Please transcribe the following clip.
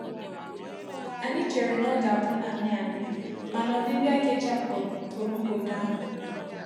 Anyị chere na ọ ga-abụ naanị anyị, mana ọbịbịa gi chapụrụ pụrụ mgbede ahụ.